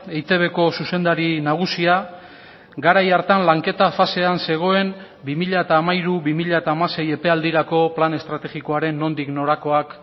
eitbko zuzendari nagusia garai hartan lanketa fasean zegoen bi mila hamairu bi mila hamasei epealdirako plan estrategikoaren nondik norakoak